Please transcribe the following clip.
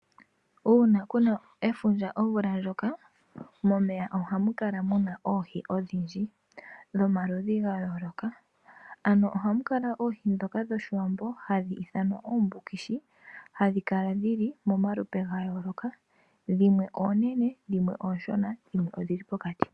Uuna kuna efundja omvula ndjoka momeya ohamu kala muna oohi odhindji dhomaludhi ga yooloka ano ohamu kala oohi dhoka dhoshiwambo hadhi ithanwa oombukishi hadhi kala dhili momalupe ga yooloka dhimwe oonene dhimwe ooshona dhimwe odhili pokati.